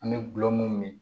An bɛ gulɔ mun ɲini